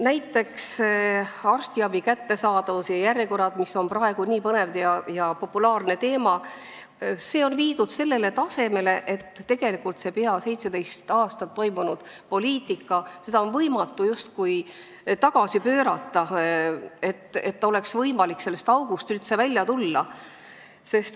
Näiteks, arstiabi kättesaadavus ja järjekorrad, mis on praegu nii põnev ja populaarne teema, on viidud sellele tasemele, et seda peaaegu 17 aastat aetud poliitikat on võimatu tagasi pöörata ja sellest august ei ole üldse võimalik välja tulla.